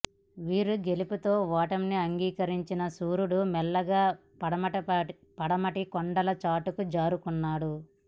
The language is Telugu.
వీరి గెలుపుతో ఓటమిని అంగీకరించిన సూర్యుడు మెల్లగా పడమటి కొండల చాటుకు జారుకున్నాడు